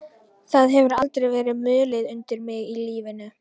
Það hefur aldrei verið mulið undir mig í lífinu.